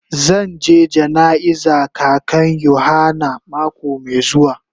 Zan je jana'iza kakan yohana mako mai zuwa.